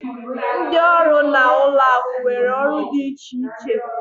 Ndị ọrụ na ụlọ akụ nwere ọrụ dị iche iche